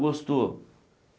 Gostou.